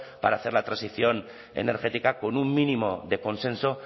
para hacer la transición energética con un mínimo de consenso